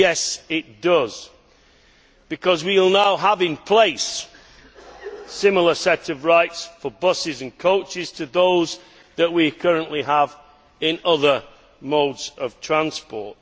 Well, yes it does, because we will now have in place a similar set of rights for buses and coaches to those that we currently have for other modes of transport.